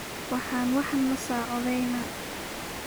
Waxan wax nasacodheyna.